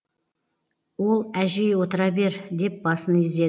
ол әжей отыра бер деп басын изеді